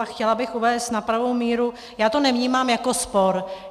A chtěla bych uvést na pravou míru - já to nevnímám jako spor.